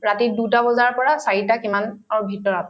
ৰাতি দুটা বজাৰ পৰা চাৰিটা কিমান অ ভিতৰত